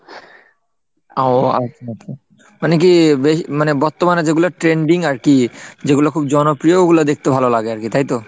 ও আচ্ছা আচ্ছা মানে কি বেশ মানে বর্তমানে যেগুলো trending আর কি যেগুলো খুব জনপ্রিয় ওগুলো দেখতে ভালো লাগে আর কি তাইতো?